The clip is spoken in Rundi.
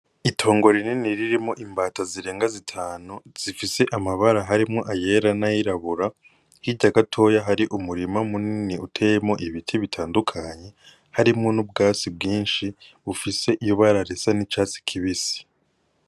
Itongo rinini ririmwo imbata zirenga zitanu zifise amabara harimwo ayera n'ayirabura, hirya gatoya hari umurima munini uteyemwo ibiti bitandukanye harimwo n'ubwatsi bwinshi bufise ibara risa n'icatsi kibisi.